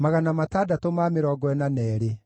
na cia Bezai ciarĩ 23,